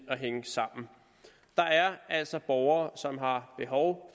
at hænge sammen der er altså borgere som har behov